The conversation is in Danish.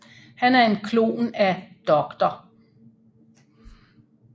Han er en klon af Dr